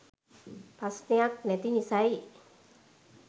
ප්‍රශ්නයක් නැති නිසයි